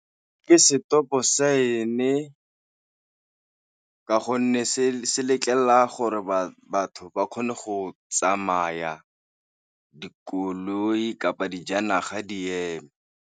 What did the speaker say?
Ke stop-o sign-e ka gonne se letlelela gore batho ba kgone go tsamaya dikoloi kapa dijanaga di ema.